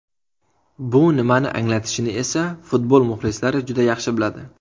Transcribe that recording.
Bu nimani anglatishini esa futbol muxlislari juda yaxshi biladi.